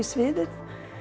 sviðið